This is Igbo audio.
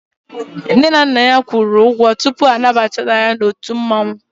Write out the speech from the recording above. Nne na Nna ya kwuru ụgwọ tupu ọ banyere ndị mmọnwụ